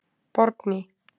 Borgný